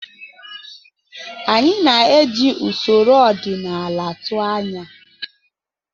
Anyị na-eji usoro ọdịnala tụọ anya.